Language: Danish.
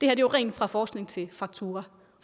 er jo rent fra forskning til faktura